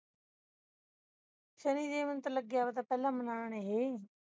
ਸ਼ਨੀ ਦੇਵ ਨੂੰ ਤੇ ਲਗਿਆ ਪਤਾ ਪਹਿਲੇ ਮਨਾਉਣ ਇਹੇ